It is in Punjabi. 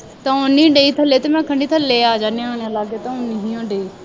ਆਉਣ ਨਹੀਂ ਡੇ ਥੱਲੇ ਅਤੇ ਆਖਣ ਡੀ ਥੱਲੇ ਆ ਜਾਂਦੇ ਹਾਂ, ਹੁਣ ਅਲੱਗ ਤੋਂ ਨਹੀਂ ਹੈ ਡੇ